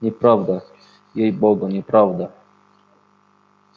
неправда ей-богу неправда